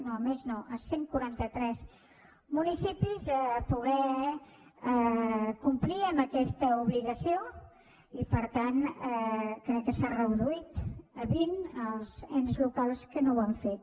no més no cent i quaranta tres municipis a poder complir amb aquesta obligació i per tant crec que s’han reduït a vint els ens locals que no ho han fet